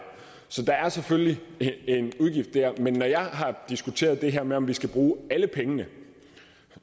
så der er selvfølgelig en udgift dér men når jeg har diskuteret det her med om vi skal bruge alle pengene